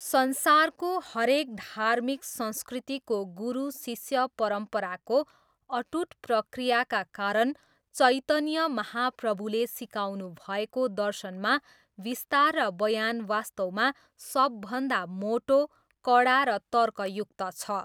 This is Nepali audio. संसारको हरेक धार्मिक संस्कृतिको गुरु शिष्य परम्पराको अटुट प्रक्रियाका कारण चैतन्य महाप्रभुले सिकाउनुभएको दर्शनमा विस्तार र बयान वास्तवमा सबभन्दा मोटो, कडा र तर्कयुक्त छ।